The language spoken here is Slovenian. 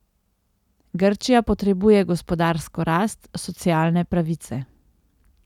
Grčija potrebuje gospodarsko rast, socialne pravice.